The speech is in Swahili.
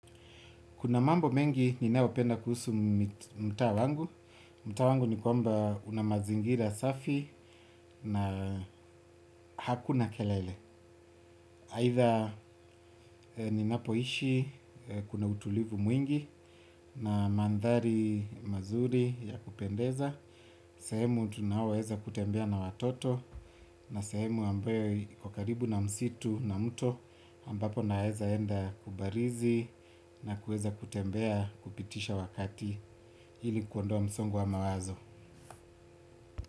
Kuna mambo mengi ninayo penda kuhusu mtaa wangu. Mta wangu ni kwamba unamazingira safi na hakuna kelele. Haitha ninapoishi kuna utulivu mwingi na mandhari mazuri ya kupendeza. Sehemu tunayoweza kutembea na watoto na sehemu ambayo iko karibu na msitu na mto ambapo naweza enda kubarizi na kueza kutembea kupitisha wakati. Ili kuondoa msongo wa mawazo.